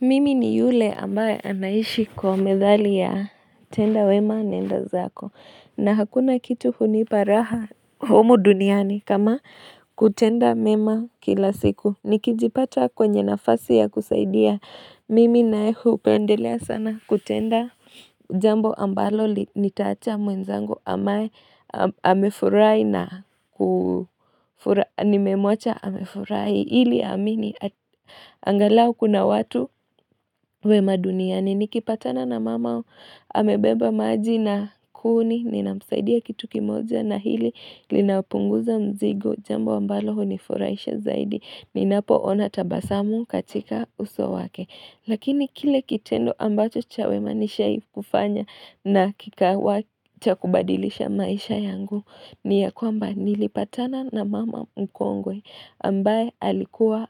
Mimi ni yule ambaye anaishi kwa methali ya tenda wema nenda zako na hakuna kitu uniparaha humu duniani kama kutenda mema kila siku nikijipata kwenye nafasi ya kusaidia mimi nae upendelea sana kutenda jambo ambalo nitaacha mwenzangu ambaye amefurai na nimemwacha amefurahi hili amini angalau kuna watu we maduniani ni kipatana na mama o amebeba maji na kuni ni na msaidia kitu kimoja na hili Linapunguza mzigo jambo ambalo huu ni furaisha zaidi ni napo ona tabasamu katika uso wake Lakini kile kitendo ambacho chawe manishai kufanya na kikawa cha kubadilisha maisha yangu ni ya kwamba nilipatana na mama mkongwe ambaye alikuwa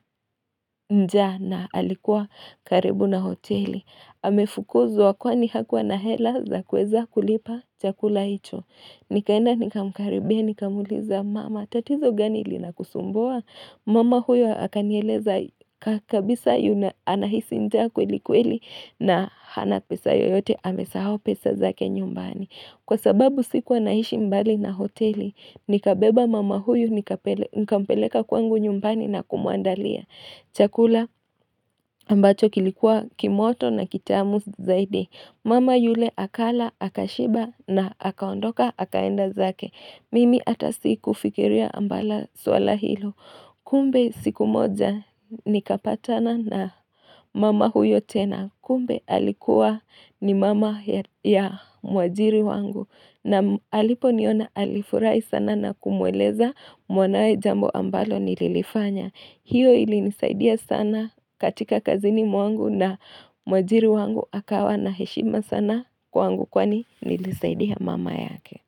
njaa na alikuwa karibu na hoteli amefukuzwa kwa ni hakuwa na hela za kuweza kulipa chakula hicho Nikaenda nikamkaribia nikamuuliza mama tatizo gani linakusumbua Mama huyo hakanieleza kabisa yuna anahisi njaa kweli kweli na hana pesa yoyote amesahau pesa zake nyumbani Kwa sababu sikuwa naishi mbali na hoteli, nikabeba mama huyu nika mpeleka kwangu nyumbani na kumuandalia. Chakula ambacho kilikuwa kimoto na kitamu zaidi. Mama yule akala, akashiba na akaondoka, akaenda zake. Mimi atasiku fikiria ambala swala hilo. Kumbe siku moja nikapatana na mama huyo tena. Kumbe alikuwa ni mama ya mwajiri wangu na alipo niona alifurahi sana na kumweleza mwanae jambo ambalo nililifanya hiyo ili nisaidia sana katika kazini mwangu na mwajiri wangu akawa na heshima sana kwangu kwani nilisaidia mama yake.